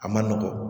A ma nɔgɔn